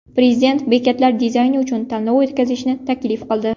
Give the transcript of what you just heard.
Prezident bekatlar dizayni uchun tanlov o‘tkazishni taklif qildi.